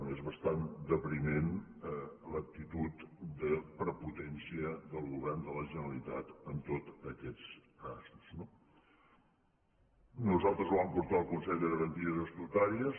bé és bastant depriment l’actitud de prepotència del govern de la generalitat en tots aquests casos no nosaltres ho vam portar al consell de garanties estatutàries